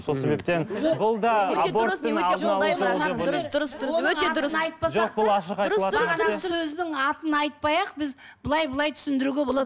сол себептен атын айтпай ақ біз былай былай түсіндіруге болады